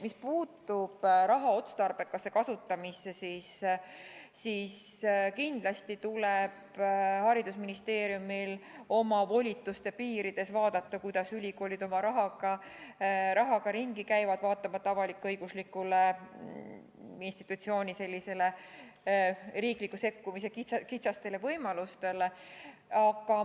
Mis puutub raha otstarbekasse kasutamisse, siis kindlasti tuleb haridusministeeriumil oma volituste piirides vaadata, kuidas ülikoolid oma rahaga ringi käivad, vaatamata avalik-õigusliku institutsiooni riikliku sekkumise kitsastele võimalustele.